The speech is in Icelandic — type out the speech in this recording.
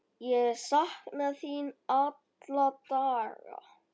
Ég sakna þín alla daga.